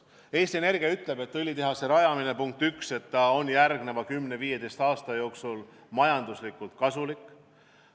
Eesti Energia ütleb, et õlitehase rajamine, punkt üks, on järgmise 10–15 aasta jooksul majanduslikult kasulik.